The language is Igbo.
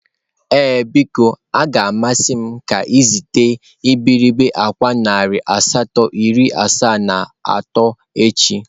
Ee biko, a ga m amasị m ka ezitere iberibe akwa narị asatọ iri asaa na atọ echi.